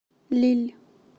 лилль